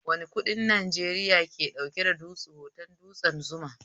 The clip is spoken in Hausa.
Wane kuɗin Najeriya ke ɗauke da hoton dutsen Zuma?